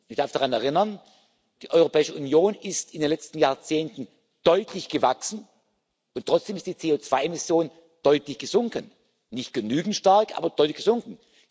Ich darf daran erinnern Die Europäische Union ist in den letzten Jahrzehnten deutlich gewachsen, und trotzdem sind die CO2 Emissionen deutlich gesunken nicht genügend stark, aber deutlich gesunken.